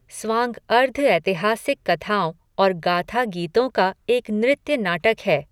स्वांग अर्ध ऐतिहासिक कथाओं और गाथा गीतों का एक नृत्य नाटक है।